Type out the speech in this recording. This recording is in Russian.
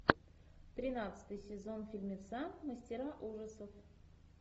тринадцатый сезон фильмеца мастера ужасов